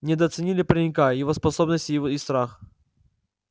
недооценили паренька его способности и страх